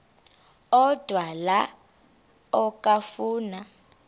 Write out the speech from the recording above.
odwa la okafuna